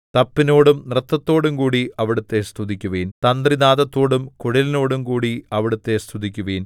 തപ്പിനോടും നൃത്തത്തോടും കൂടി അവിടുത്തെ സ്തുതിക്കുവിൻ തന്ത്രിനാദത്തോടും കുഴലിനോടും കൂടി അവിടുത്തെ സ്തുതിക്കുവിൻ